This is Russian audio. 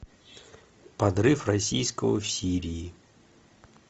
подрыв российского в сирии